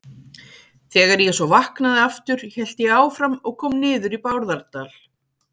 Þegar ég svo vaknaði aftur hélt ég áfram og kom niður í Bárðardal.